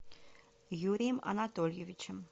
юрием анатольевичем